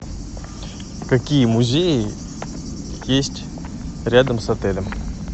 какие музеи есть рядом с отелем